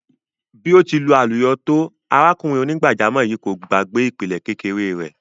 Bí ó ti lu àlùyọ tó, arákùnrin onígbàjámọ̀ yìí kò gbàgbé ìpìlẹ̀ kékeré rẹ̀.